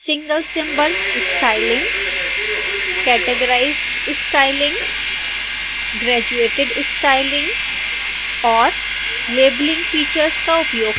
single symbol styling categorized styling graduated styling और